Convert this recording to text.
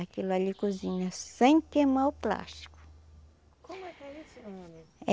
Aquilo ali cozinha sem queimar o plástico.